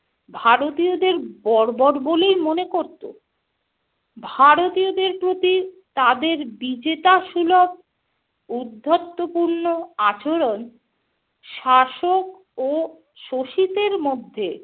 ভারতীয়দের বর্বর বলেই মনে করত। ভারতীয়দের প্রতি তাদের বিজেতা সুলভ উদ্ধত্যপূর্ণ আচরণ শাসক ও শোষিতের মধ্যে